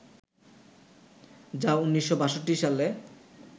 যা ১৯৬২ সালে